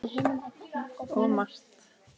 Of margt.